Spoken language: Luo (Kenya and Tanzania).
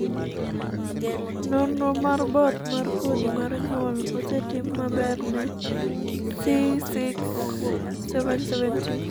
nonro mar both mar kodhi mar nyuol osetim maber ne C677T